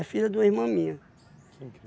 filha de uma irmã minha.